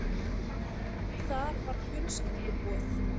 Þar var fjölskylduboð.